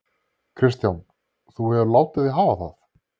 Kristján: Þú hefur látið þig hafa það?